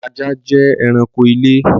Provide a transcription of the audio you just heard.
Ajá jẹ́ ẹranko ilé